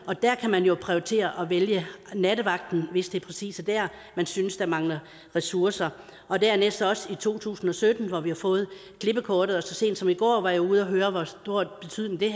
der kan man jo prioritere og vælge nattevagten hvis det præcis er der man synes der mangler ressourcer dernæst har vi også i to tusind og sytten fået klippekortet så sent som i går var jeg ude at høre hvor stor betydning det